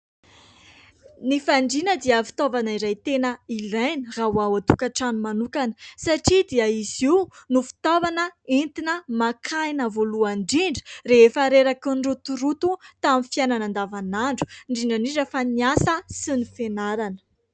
Ny fandrina dia fitaovana iray tena ilainy raha ao an-tokantrano manokana satria dia izy io no fitaovana entina maka aina voalohany ; indrindra rehefa reraky ny rotoroto tamin'ny fiainana andavanandro indrindra indrindra fa niasa sy ny fianarana.